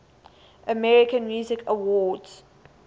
american music awards